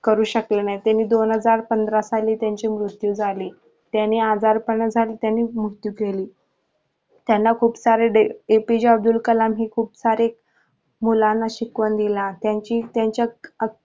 करू शकले नाही ते दोन हजार पंधरा साली त्यांची मृत्यू झाली त्याने आजारपण झाला त्यांना खूप सारे APJ अब्दुल कलाम यांनी खूप सारे मुलांना शिकवण दिली आहे.